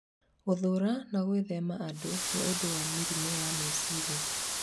Gũthũũra na gwithema andũ nĩ ũndũ wa mĩrimũ ya meciria